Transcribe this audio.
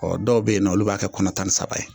Ɔ dɔw bɛ yen nɔ olu b'a kɛ kɔnɔ tan ni saba ye